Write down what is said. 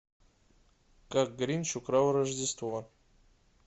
как гринч украл рождество